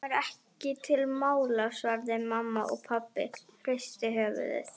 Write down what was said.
Kemur ekki til mála svaraði mamma og pabbi hristi höfuðið.